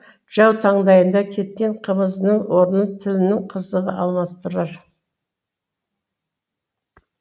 жау таңдайында кеткен қымызыңның орынын тіліңнің қызығы алмастырар